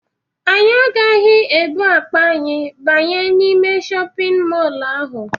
Anyị agaghị ebu akpa anyị banye n'ime shọpịn mọlụ ahụ.